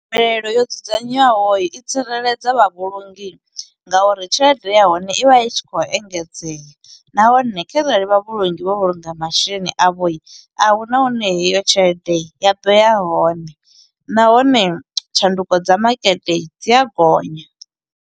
Mvelelo yo dzudzanywaho i tsireledza vhavhulungi nga uri tshelede ya hone i vha i tshi khou engedzea, nahone kharali vhavhulungi vho vhulunga masheleni a vho, a huna hune heyo tshelede ya ḓo ya hone. Nahone, tshanduko dza makete dzi a gonya.